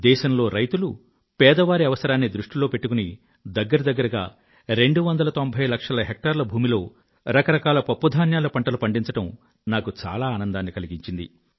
దేశంలో రైతులు పేదవారి అవసరాన్ని దృష్టిలో పెట్టుకుని దగ్గర దగ్గరగా రెండువందల తొంభై లక్షల హెక్టార్ల భూమిలో రకరకాల పప్పుధాన్యాల పంటలు పండించడం నాకు చాలా ఆనందాన్ని కలిగించింది